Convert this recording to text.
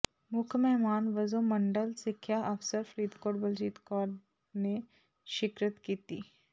ਮੁੱਖ ਮਹਿਮਾਨ ਵਜੋਂ ਮੰਡਲ ਸਿੱਖਿਆ ਅਫ਼ਸਰ ਫ਼ਰੀਦਕੋਟ ਬਲਜੀਤ ਕੌਰ ਨੇ ਸ਼ਿਰਕਤ ਕੀਤੀ